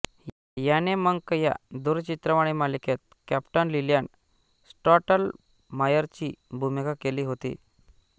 याने मंक या दूरचित्रवाणी मालिकेत कॅप्टन लीलँड स्टॉटलमायरची भूमिका केली होती